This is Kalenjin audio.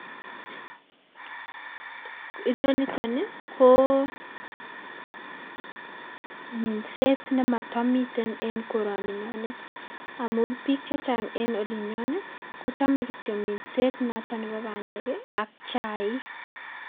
Inoni niton ni koo minset nemotomiten en koroni nyonet amun biik chechang' en olinyon ii kochome kitiok minset nebo bandek ak chaik.